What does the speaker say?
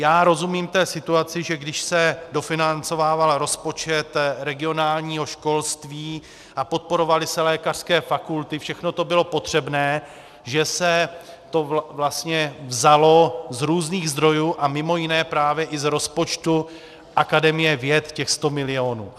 Já rozumím té situaci, že když se dofinancovával rozpočet regionálního školství a podporovaly se lékařské fakulty, všechno to bylo potřebné, že se to vlastně vzalo z různých zdrojů a mimo jiné i právě z rozpočtu akademie věd, těch 100 milionů.